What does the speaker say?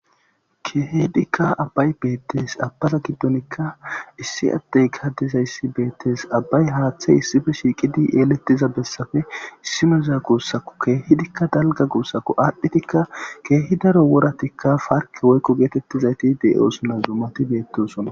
Keehdikka abbay beettes abbaza giddonikka issi adtey gadiza yssi beettes abbay haaththey issife shiiqidi yeelettiza bessafe issimeza guussaku keehidikka dalga guussako aadhdhitikka keehi daro woratikka parki woyko geetettizayti de7osuna zumati beettosonna